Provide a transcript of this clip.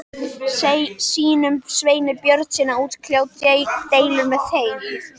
sínum, Sveini Björnssyni, að útkljá deiluna með þeim.